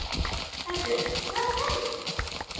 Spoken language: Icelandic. Herbjörg, hvaða dagur er í dag?